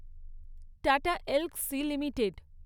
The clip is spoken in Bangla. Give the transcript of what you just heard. tata Elxsi limited